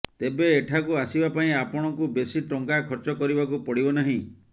ତେବେ ଏଠାକୁ ଆସିବା ପାଇଁ ଆପଣଙ୍କୁ ବେଶୀ ଟଙ୍କା ଖର୍ଚ୍ଚ କରିବାକୁ ପଡିବ ନାହିଁ